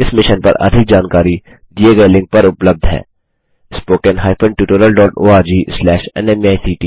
इस मिशन पर अधिक जानकारी दिए गए लिंक पर उपलब्ध है httpspoken tutorialorgNMEICT